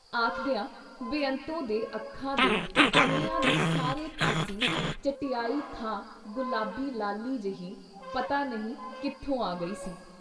ਆਖਦਿਆਂ ਬੇਅੰਤੋ ਦੇ ਅੱਖਾਂ ਦੇ ਆਨਿਆਂ ਦੇ ਸਾਰੇ ਪਾਸੀਂ ਚਟਿਆਈ ਥਾਂ ਗੁਲਾਬੀ ਲਾਲੀ ਜੇਹੀ ਪਤਾ ਨਹੀਂ ਕਿੱਥੋਂ ਆ ਗਈ ਸੀ ?